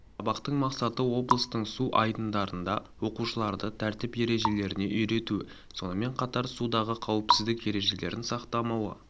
сабақтың мақсаты облыстың су айдындарында оқушыларды тәртіп ережелеріне үйрету сонымен қатар судағы қауіпсіздік ережелерін сақталмауы